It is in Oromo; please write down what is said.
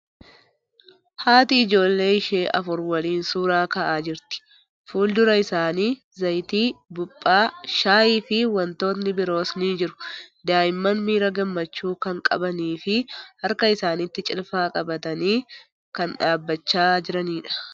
Haati ijoollee ishee afur waliin suuraa kaa'aa jirti. Fuuldura isaanii zayitii, buuphaa, shaayii fiiwantootni biroos ni jiru. Daa'imman miira gammachuu kan qabanii fii harka isaanitti cilfaa qabatanii kan dhaabbachaa jiraniidha.